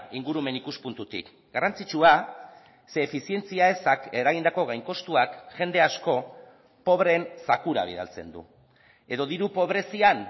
ingurumen ikuspuntutik garrantzitsua ze efizientzia ezak eragindako gain kostuak jende asko pobreen zakura bidaltzen du edo diru pobrezian